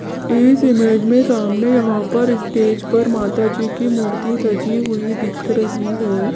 इस इमेज में सामने यहां पर स्टेज पर माताजी की मूर्ति सजी हुई दिख रही है।